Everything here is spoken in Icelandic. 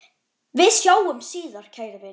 Við sjáumst síðar, kæri vinur.